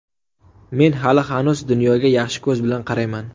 Men hali-hanuz dunyoga yaxshi ko‘z bilan qarayman.